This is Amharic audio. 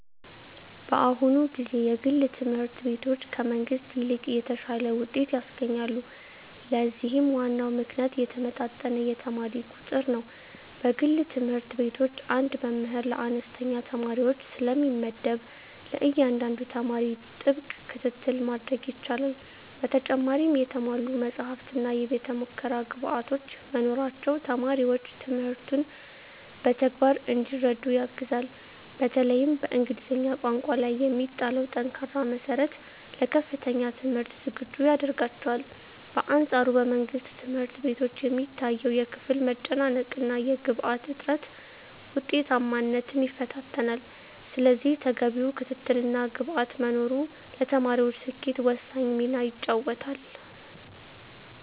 በአሁኑ ጊዜ የግል ትምህርት ቤቶች ከመንግሥት ይልቅ የተሻለ ውጤት ያስገኛሉ። ለዚህም ዋናው ምክንያት የተመጣጠነ የተማሪ ቁጥር ነው። በግል ትምህርት ቤቶች አንድ መምህር ለአነስተኛ ተማሪዎች ስለሚመደብ፣ ለእያንዳንዱ ተማሪ ጥብቅ ክትትል ማድረግ ይቻላል። በተጨማሪም የተሟሉ መጻሕፍትና የቤተ-ሙከራ ግብዓቶች መኖራቸው ተማሪዎች ትምህርቱን በተግባር እንዲረዱ ያግዛል። በተለይም በእንግሊዝኛ ቋንቋ ላይ የሚጣለው ጠንካራ መሠረት ለከፍተኛ ትምህርት ዝግጁ ያደርጋቸዋል። በአንፃሩ በመንግሥት ትምህርት ቤቶች የሚታየው የክፍል መጨናነቅና የግብዓት እጥረት ውጤታማነትን ይፈታተናል። ስለዚህ ተገቢው ክትትልና ግብዓት መኖሩ ለተማሪዎች ስኬት ወሳኝ ሚና ይጫወታል።